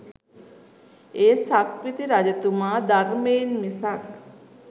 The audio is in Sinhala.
ඒ සක්විති රජතුමා ධර්මයෙන් මිසක්